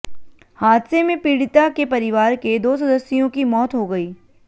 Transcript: हादसे में पीडिता के परिवार के दो सदस्यों की मौत हो गई